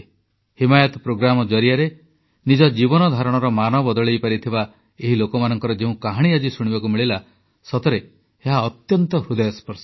Himayat programme ଜରିଆରେ ନିଜ ଜୀବନଧାରଣର ମାନ ବଦଳାଇପାରିଥିବା ଏହି ଲୋକମାନଙ୍କର ଯେଉଁ କାହାଣୀ ଆଜି ଶୁଣିବାକୁ ମିଳିଲା ସତରେ ଏହା ଅତ୍ୟନ୍ତ ହୃଦୟସ୍ପର୍ଶୀ